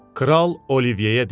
Kral Olivyeyə dedi: